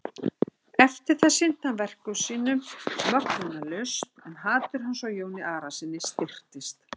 Eftir það sinnti hann verkum sínum möglunarlaust en hatur hans á Jóni Arasyni styrktist.